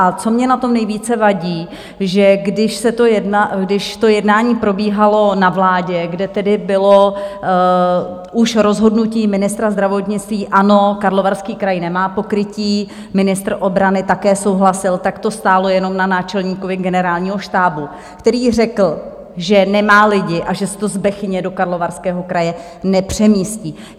A co mně na tom nejvíce vadí, že když to jednání probíhalo na vládě, kde tedy bylo už rozhodnutí ministra zdravotnictví - ano, Karlovarský kraj nemá pokrytí, ministr obrany také souhlasil, tak to stálo jenom na náčelníkovi Generálního štábu, který řekl, že nemá lidi a že se to z Bechyně do Karlovarského kraje nepřemístí.